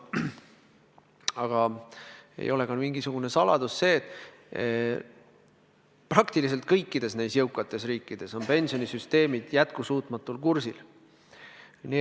Aga ei ole mingisugune saladus, et praktiliselt kõikides jõukates riikides on pensionisüsteemid jätkusuutmatul kursil.